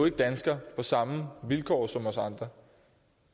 ikke dansker på samme vilkår som os andre